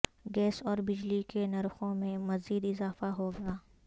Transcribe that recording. gas اور بجلی کے نرخوں میں مزید اضافہ ہوگا